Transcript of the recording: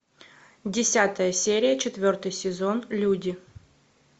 десятая серия четвертый сезон люди